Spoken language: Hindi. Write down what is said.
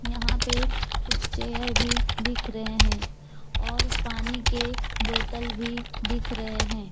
यहां पे कुछ चेयर भी दिख रहे हैं और पानी के बोतल भी दिख रहे हैं।